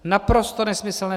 Naprosto nesmyslné!